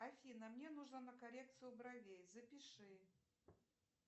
афина мне нужно на коррекцию бровей запиши